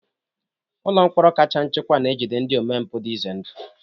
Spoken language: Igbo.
Ụlọ mkpọrọ kacha nchekwa na-ejide ndị omempụ dị ize ndụ.